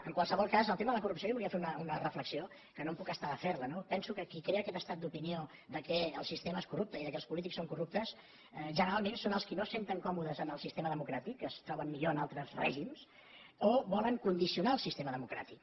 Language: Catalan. en qualsevol cas en el tema de la corrupció jo volia fer una reflexió que no em puc estar de fer la no penso que qui crea aquest estat d’opinió que el sistema és corrupte i que els polítics són corruptes generalment són els qui no se senten còmodes en el sistema democràtic que es troben millor en altres règims o que volen condicionar el règim democràtic